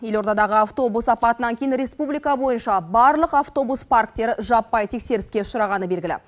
елордадағы автобус апатынан кейін республика бойынша барлық автобус парктері жаппай тексеріске ұшырағаны белгілі